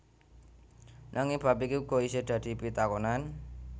Nanging bab iki uga isih dadi pitakonan